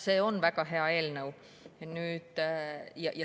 See on väga hea eelnõu.